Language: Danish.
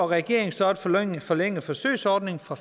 regeringen så at forlænge forlænge forsøgsordningen fra